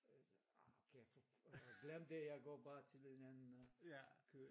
Arh okay glem det jeg går bare til en anden øh kø